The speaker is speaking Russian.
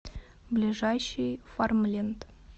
ближайший фармленд